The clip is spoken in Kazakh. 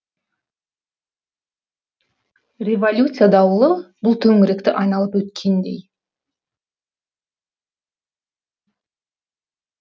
революция дауылы бұл төңіректі айналып өткендей